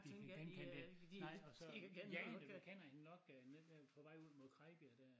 De kan genkende det nej og så ja jo du kender hende nok på vej ud mod Krejbjerg dér